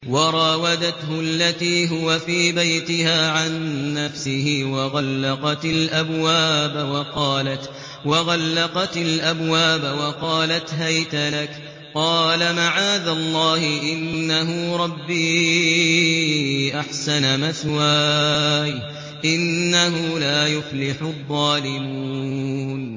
وَرَاوَدَتْهُ الَّتِي هُوَ فِي بَيْتِهَا عَن نَّفْسِهِ وَغَلَّقَتِ الْأَبْوَابَ وَقَالَتْ هَيْتَ لَكَ ۚ قَالَ مَعَاذَ اللَّهِ ۖ إِنَّهُ رَبِّي أَحْسَنَ مَثْوَايَ ۖ إِنَّهُ لَا يُفْلِحُ الظَّالِمُونَ